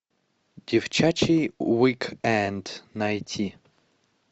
девчачий уик энд найти